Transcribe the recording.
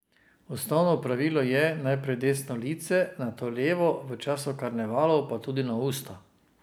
Osnovno pravilo je najprej desno lice, nato levo, v času karnevalov pa tudi na usta.